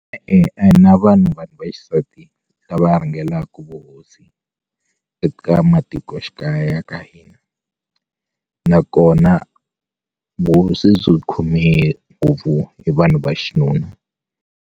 E-e a hi na vanhu vanhu va xisati lava rhangelaku vuhosi eka matikoxikaya ya ka hina nakona vuhosi byu khome ngopfu hi vanhu va xinuna.